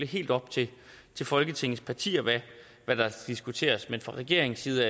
helt op til folketingets partier hvad der diskuteres men fra regeringens side